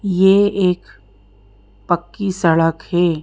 ये एक पक्की सड़क है।